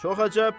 Çox əcəb.